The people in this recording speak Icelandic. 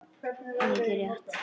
Mikið rétt!